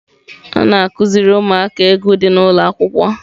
A na-akụziri ụmụaka egwu dị n'ụlọ akwụkwọ.